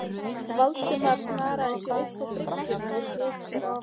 Valdimar snaraði sér upp á bryggjuna við hlið þeirra.